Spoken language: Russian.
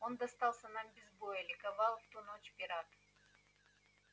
он достался нам без боя ликовал в ту ночь пират